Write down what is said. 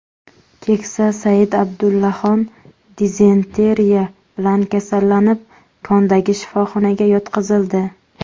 Keksa Said Abdullaxon dizenteriya bilan kasallanib, kondagi shifoxonaga yotqizildi.